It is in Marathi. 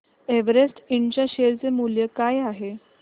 एव्हरेस्ट इंड च्या शेअर चे मूल्य काय आहे